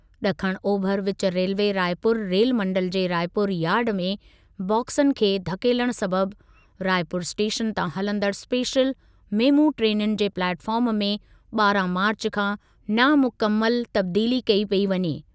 ॾखण ओभरु विचु रेल्वे रायपुर रेलमंडलु जे रायपुर यार्ड में बाक्सनि खे धकेलणु सबबि रायपुर स्टेशन तां हलंदड़ु स्पेशल मेमू ट्रेनुनि जे प्लेटफॉर्म में ॿारहं मार्चु खां नामुकमलु तब्दीली कई पेई वञे।